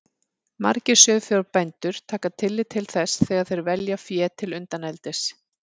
Margir sauðfjárbændur taka tillit til þess þegar þeir velja fé til undaneldis.